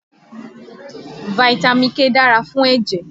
Fitami K dára fún ẹ̀jẹ̀